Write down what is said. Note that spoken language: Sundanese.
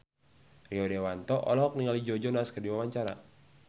Rio Dewanto olohok ningali Joe Jonas keur diwawancara